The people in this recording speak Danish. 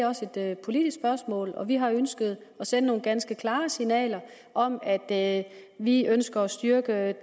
også er et politisk spørgsmål og vi har ønsket at sende nogle ganske klare signaler om at vi ønsker at styrke